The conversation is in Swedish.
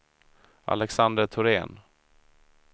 Alexander Thorén